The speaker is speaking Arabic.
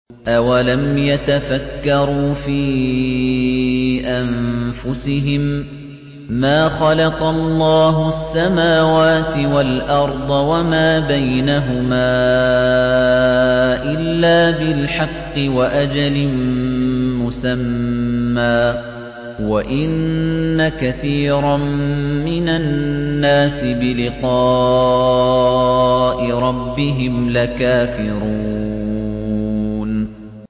أَوَلَمْ يَتَفَكَّرُوا فِي أَنفُسِهِم ۗ مَّا خَلَقَ اللَّهُ السَّمَاوَاتِ وَالْأَرْضَ وَمَا بَيْنَهُمَا إِلَّا بِالْحَقِّ وَأَجَلٍ مُّسَمًّى ۗ وَإِنَّ كَثِيرًا مِّنَ النَّاسِ بِلِقَاءِ رَبِّهِمْ لَكَافِرُونَ